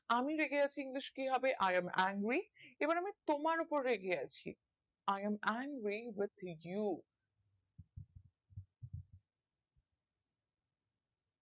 আমি রেগে আছি english কিহবে i am angry এবার তোমার ওপর রেগে আছি I am angry with you